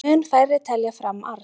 Mun færri telja fram arð